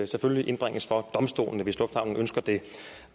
selvfølgelig indbringes for domstolene hvis lufthavnen ønsker det